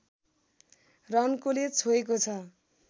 रन्कोले छोएको छ